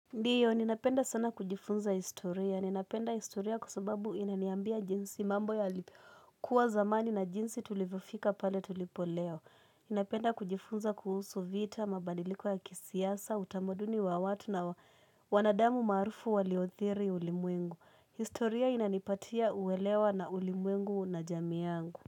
Ndiyo, ninapenda sana kujifunza historia. Ninapenda historia kwasubabu inaniambia jinsi mambo yalikuwa zamani na jinsi tulivyofika pale tulipo leo. Ninapenda kujifunza kuhusu vita, mabadiliko ya kisiasa, utamuduni wa watu na wanadamu maarufu waliothiri ulimwengu. Historia inanipatia uwelewa na ulimwengu na jamii yangu.